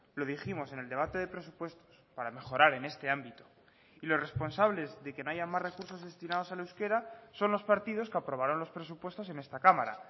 lo dijimos en el debate de presupuestos para mejorar en este ámbito y los responsables de que no haya más recursos destinados al euskera son los partidos que aprobaron los presupuestos en esta cámara